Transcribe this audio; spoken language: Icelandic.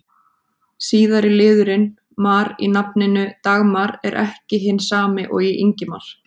Síðari liðurinn-mar í nafninu Dagmar er ekki hinn sami og í Ingimar.